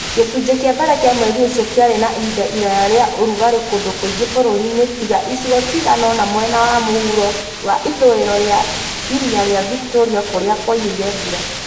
Gĩcunjĩ kĩa mbere kĩa mweri ũcio kĩarĩ na ihinda iraya rĩa ũrugarĩ kũndũ kũingĩ bũrũri-inĩ tiga icigo cigana ũna cia mwena wa mũhuro wa ithũĩro na Iria rĩa Victoria kũrĩa kwaiyũire mbura.